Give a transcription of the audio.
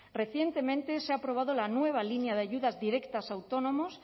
recientemente se ha aprobado la nueva línea de ayudas directas a autónomos